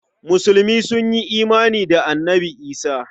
Musulmi sun yi imani da Annabi Isah.